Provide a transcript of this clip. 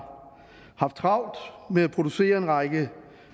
haft travlt med at producere en række